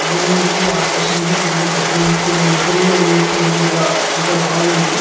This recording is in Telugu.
భూమికి ఆకాశం కి కింద తగిలినట్టు మిడిల్ లో ఉన్నట్టు మనం అలా అంత బాగుంది.